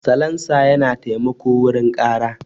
Salansa yana taimako wurin ƙara.